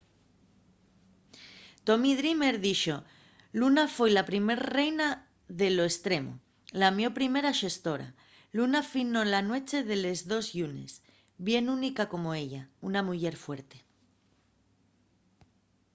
tommy dreamer dixo: luna foi la primer reina de lo estremo. la mio primera xestora. luna finó na nueche de les dos llunes. bien única como ella. una muyer fuerte